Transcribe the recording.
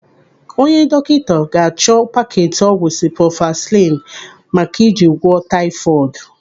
Onye dọkịta ga-achọ paketi ọgwụ siproflazasinu maka iji gwọọ taifọdu.